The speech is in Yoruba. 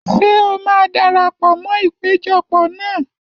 Ṣé o máa darapọ̀ mọ́ ìpéjọpọ̀ náà?